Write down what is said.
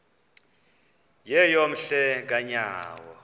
yeyom hle kanyawo